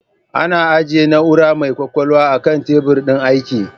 Ana ajjiye na'ura mai kwakwalwa a kan tebur din aiki